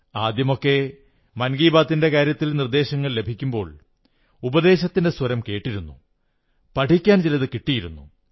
ആദ്യമൊക്കെ മൻ കീ ബാത്തിന്റെ കാര്യത്തിൽ നിർദ്ദേശങ്ങൾ ലഭിക്കുമ്പോൾ ഉപദേശത്തിന്റെ സ്വരം കേട്ടിരുന്നു പഠിക്കാൻ ചിലതു കിട്ടിയിരുന്നു